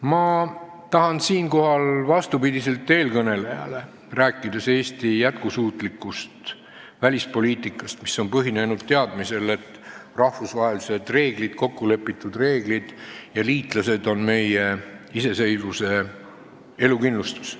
Ma tahan siinkohal vastupidiselt eelkõnelejale rääkida Eesti jätkusuutlikust välispoliitikast, mis on põhinenud teadmisel, et rahvusvahelised kokkulepitud reeglid ja liitlased on meie iseseisvuse elukindlustus.